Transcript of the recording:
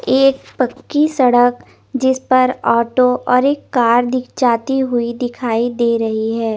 एक पक्की सड़क जिस पर एक ऑटो और एक कार जाती हुई दिख जा रही है।